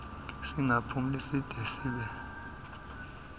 singaphumli side sibe